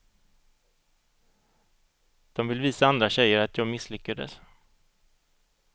De vill visa andra tjejer att jag misslyckades.